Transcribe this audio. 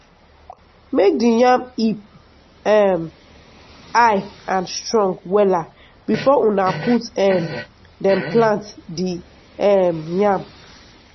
make di yam heap um high and strong wella before una put um dem plant di um yam.